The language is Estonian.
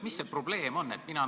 Mis see probleem on?